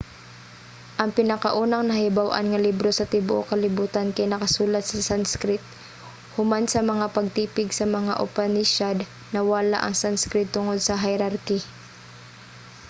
ang pinakaunang nahibaw-an nga libro sa tibuok kalibutan kay nakasulat sa sanskrit. human sa mga pagtipig sa mga upanishad nawala ang sanskrit tungod sa hierarchy